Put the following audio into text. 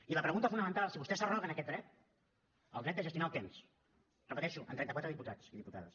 i la pregunta fonamental si vostès s’arroguen aquest dret el dret de gestionar el temps ho repeteixo amb trenta quatre diputats i diputades